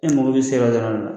E mako b'e se yɔrɔ dɔrɔn de la